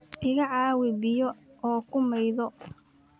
Iga caawi biyo oo ku maydho.